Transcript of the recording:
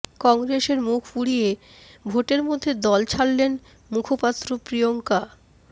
কংগ্রেসের মুখ পুড়িয়ে ভোটের মধ্যে দল ছাড়লেন মুখপাত্র প্রিয়ঙ্কা